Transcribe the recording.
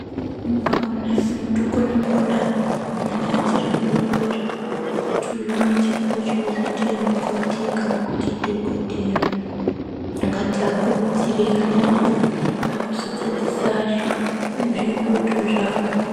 Pamweni pakona tinokona kuona mwana achiri mudodori kuti uyu Une chipo chekuzoita mukoti kana kuti dhokodheya akati akurudzire ana edu pakuzodzadzisa zviroto zvawo.